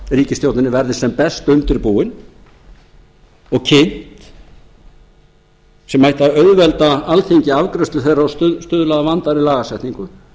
ríkisstjórninni verði sem best undirbúin og kynnt sem ætti að auðvelda alþingi afgreiðslu þeirra og stuðla að vandaðri lagasetningu